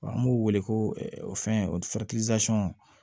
Wa an b'u wele ko o fɛn o